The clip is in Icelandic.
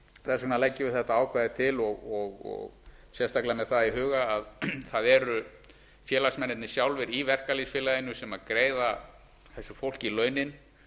þess vegna leggjum við þetta ákvæði til sérstaklega með það í huga að það eru félagsmennirnir sjálfir í verkalýðsfélagi sem griða þessu fólki launin